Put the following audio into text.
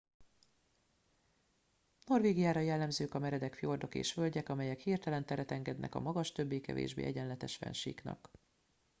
norvégiára jellemzők a meredek fjordok és völgyek amelyek hirtelen teret engednek a magas többé kevésbé egyenletes fennsíknak